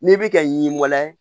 N'i bɛ ka ɲiwalayɛ